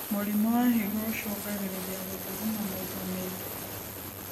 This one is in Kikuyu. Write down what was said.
Mũrimũ wa higo ũcũngagĩrĩrĩa gũthuguma maĩ ta maĩ ngĩ